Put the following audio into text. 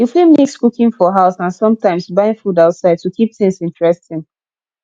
you fit mix cooking for house and sometimes buying food outside to keep things interesting